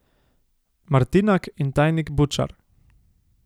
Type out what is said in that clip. Martinak in tajnik Bučar.